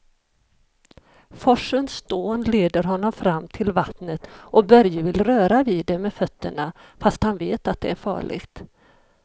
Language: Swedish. Forsens dån leder honom fram till vattnet och Börje vill röra vid det med fötterna, fast han vet att det är farligt.